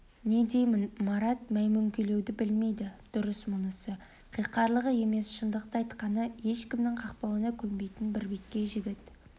не дейін марат мөймөңкелеуді білмейді дұрыс мұнысы қиқарлығы емес шындықты айтқаны ешкімнің қақпалауына көнбейтін бірбеткей жігіт